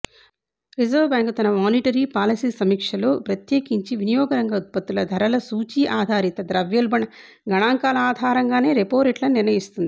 reserve bank తన monetary policy సమీక్షలో ప్రత్యేకించి వినియోగరంగ ఉత్పత్తులధరల సూచీ ఆధారిత ద్రవ్యోల్బణ గణాంకాల ఆధారంగానే రెపోరేట్లను నిర్ణయిస్తుంది